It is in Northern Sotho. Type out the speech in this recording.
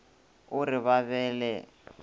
o re ba be le